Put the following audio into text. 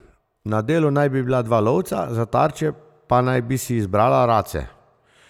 Na delu naj bi bila dva lovca, za tarče pa naj bi si izbrala race.